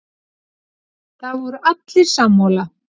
Það voru allir sammála.